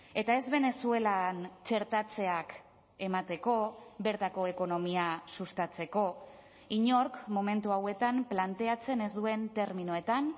eta ez venezuelan txertatzeak emateko bertako ekonomia sustatzeko inork momentu hauetan planteatzen ez duen terminoetan